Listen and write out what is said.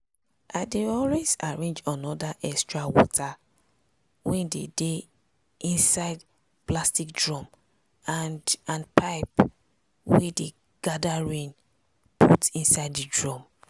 i dey always arrange another extra water wey dey dey inside plastic drum and and pipes wey dey gather rain put inside the drum.